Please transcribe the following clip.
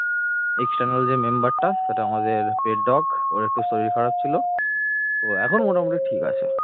external যে member টা সেটা আমাদের pet dog ওর একটু শরীর খারাপ ছিল ও এখন মোটামুটি ঠিক আছে